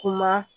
Kuma